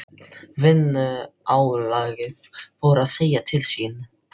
Vinnuálagið fór að segja til sín.